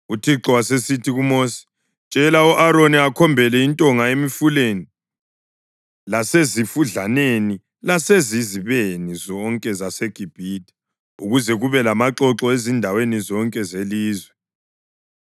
UThixo wasesithi kuMosi, “Tshela u-Aroni akhombele intonga emifuleni, lasezifudlaneni lasezizibeni zonke zaseGibhithe ukuze kube lamaxoxo ezindaweni zonke zelizwe.”